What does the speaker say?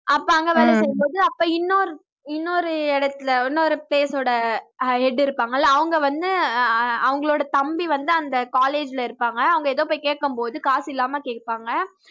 அப்ப அங்க வேலை செய்யும்போது அப்ப இன்னொரு இன்னொரு இடத்துல இன்னொரு place ஓட அஹ் head இருப்பாங்க இல்ல அவங்க வந்து ஆஹ் அவங்களோட தம்பி வந்து அந்த college ல இருப்பாங்க அவங்க ஏதோ போய் கேட்கும்போது காசில்லாமல் கேப்பாங்க